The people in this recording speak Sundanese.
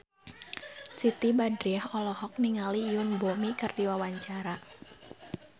Siti Badriah olohok ningali Yoon Bomi keur diwawancara